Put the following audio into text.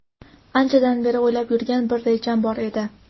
Anchadan beri o‘ylab yurgan bir rejam bor edi.